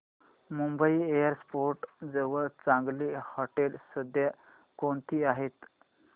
Mumbai airport जवळ चांगली हॉटेलं सध्या कोणती आहेत